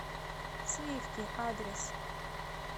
сливки адрес